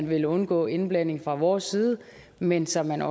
vil undgå indblanding fra vores side men så man